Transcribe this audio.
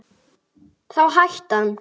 Þá hætti hann.